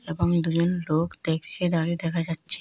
এবং দুজন লোক দেখছে দাঁড়িয়ে দেখা যাচ্ছে।